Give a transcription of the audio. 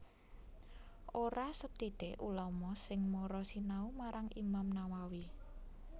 Ora sethithik ulama sing mara sinau marang Iman Nawawi